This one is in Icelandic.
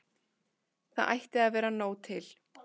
Það ætti að vera nóg til.